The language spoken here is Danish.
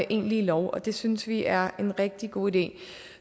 egentlige lov og det synes vi er en rigtig god idé